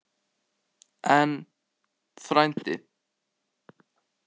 En, frændi